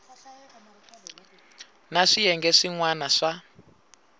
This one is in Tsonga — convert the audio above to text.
na swiyenge swin wana swa